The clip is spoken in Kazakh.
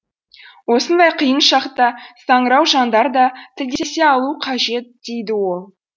осындай қиын шақта саңырау жандар да тілдесе алуы қажет дейді ол